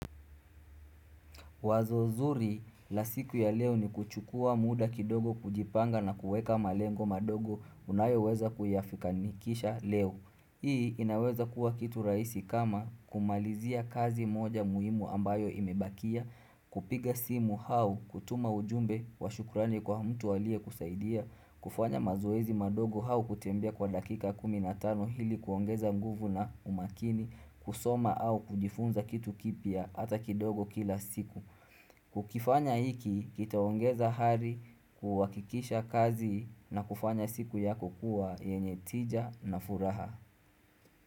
Wazo zuri la siku ya leo ni kuchukua muda kidogo kujipanga na kuweka malengo mandogo unayoweza kuyafika nikisha leo. Hii inaweza kuwa kitu rahisi kama kumalizia kazi moja muhimu ambayo imebakia, kupiga simu au, kutuma ujumbe, washukurani kwa mtu aliyekusaidia, kufanya mazoezi madogo au kutembea kwa dakika kumi na tano hili kuongeza nguvu na umaakini, kusoma au kujifunza kitu kipya hata kindogo kila siku. Ukifanya hiki kitaongeza hari kuhakikisha kazi na kufanya siku yako kuwa yenye tija na furaha.